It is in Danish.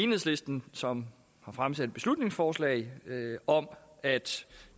enhedslisten som har fremsat et beslutningsforslag om at